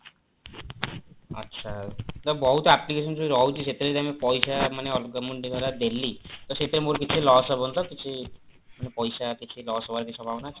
ଆଚ୍ଛା ତ ବହୁତ application ସବୁ ରହୁଛି ସେଥିରେ ଯଦି ଆମେ ପଇସା ମାନେ ଅଲଗା ମାନେ ମୁଁ ଧର ଦେଲି ତ ସେଥିରେ ମୋର କିଛି loss ହବନି ତ କିଛି ମାନେ ପଇସା କିଛି loss ହବାର ସମ୍ଭାବନା ଅଛି?